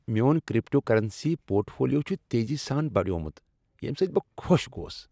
میون cryptocurrency portfolio چھ تیزی سان بڑیومت ییٚمہ سۭتۍ بہٕ خوش گوس۔